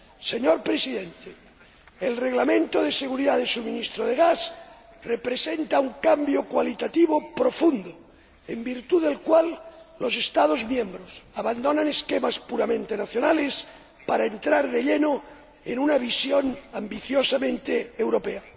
Señor Presidente, el Reglamento relativo a la seguridad del suministro de gas representa un cambio cualitativo profundo, en virtud del cual los Estados miembros abandonan esquemas puramente nacionales para entrar de lleno en una visión ambiciosamente europea.